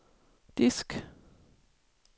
disk